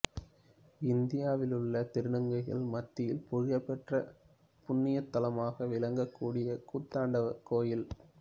இந்தியாவிலுள்ள திருநங்கைகள் மத்தியில் புகழ் பெற்ற புண்ணியத்தலமாக விளங்கக் கூடியது கூத்தாண்டவர் கோயில்